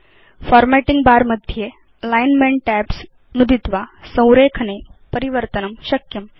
formatting bar मध्ये alignment tabs नुदित्वा संरेखने परिवर्तनं शक्यम्